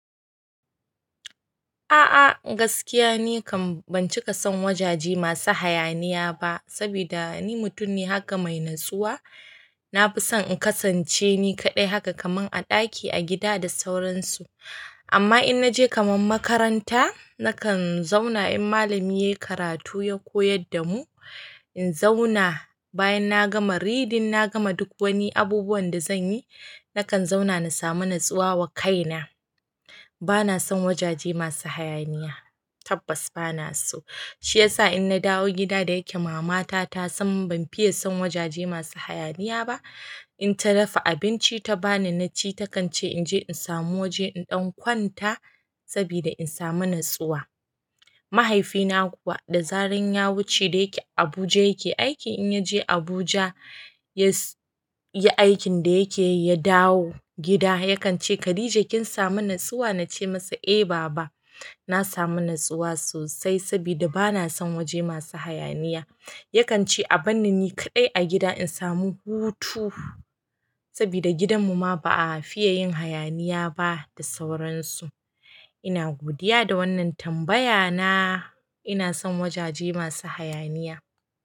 A'a gaskiya ni kam ban cika son wajaje masu hayaniya ba, sabida ni mutum ne haka mai natsuwa na fi son in kasance ni kaɗai haka kaman a ɗaki, a gida da sauransu. Amma in naje kaman makaranta, na kan zauna in malami yayi karatu, ya koyar da mu. In zauna bayan na gama reading, na gama duk wani abubuwan da zanyi, na kan zauna na samu natsuwa wa kaina. Bana son wajaje masu hayaniya, tabbas bana so. Shiyasa in na dawo gida da ya ke mamata ta san ban fiya son wajaje masu hayaniya ba, in ta dafa abinci ta bani naci ta kan ce in je in samu wajen ɗan kwanta sabida in samu natsuwa. Mahaifi na kuwa da zaran ya wuce da yake Abuja yake aiki. In yaje Abuja yayi aikin da ya ke yi ya dawo gida, ya kan ce khadija kin samu natsuwa? Na ce masa "Eh baba, na samu natsuwa sosai sabida bana son waje masu hayaniya." Ya kan ce a bar ni ni kaɗai a gida in samu hutu sabida gidan mu ma ba a fiye yin hayaniya ba da sauransu. Ina godiya da wannan tambaya na. Ina son wajaje masu hayaniya.